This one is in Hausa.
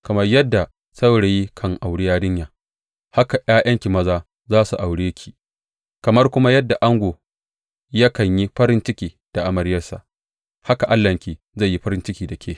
Kamar yadda saurayi kan auri yarinya, haka ’ya’yanki maza za su aure ki; kamar kuma yadda ango yakan yi farin ciki da amaryarsa, haka Allahnki zai yi farin ciki da ke.